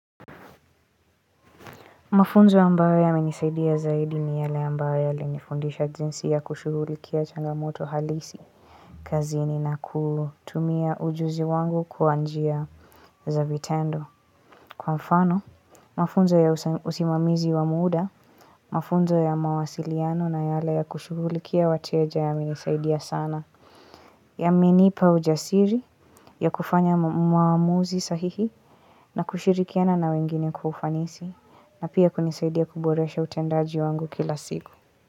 Mafunzo ambayo yananisaidia zaidi ni yale ambayo yalinifundisha jinsi ya kushughulikia changamoto halisi. Kazini na kutumia ujuzi wangu kwa njia za vitendo. Kwa mfano, mafunzo ya usimamizi wa muda, mafunzo ya mawasiliano na yale ya kushughulikia wateja yamenisaidia sana. Yamenipa ujasiri ya kufanya maamuzi sahihi na kushirikiana na wengine kwa ufanisi. Na pia kunisaidia kuboresha utendaji wangu kila siku.